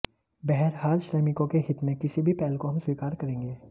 बहरहाल श्रमिकों के हित में किसी भी पहल को हम स्वीकार करेंगे